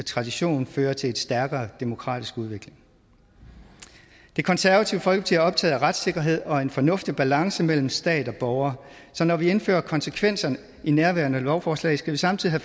tradition fører til en stærkere demokratisk udvikling det konservative folkeparti er optaget af retssikkerhed og en fornuftig balance mellem stat og borgere så når vi indfører konsekvenser i nærværende lovforslag skal vi samtidig